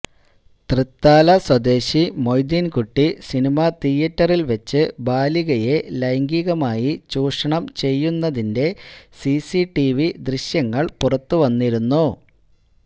തൃത്താല സ്വദേശി മൊയ്തീൻകുട്ടി സിനിമാതിയേറ്ററിൽ വെച്ച് ബാലികയെ ലൈംഗികമായി ചൂഷണം ചെയ്യുന്നതിന്റെ സിസിടിവി ദൃശ്യങ്ങൾ പുറത്തുവന്നിരുന്നു